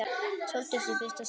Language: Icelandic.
Sóldísi í fyrsta sinn.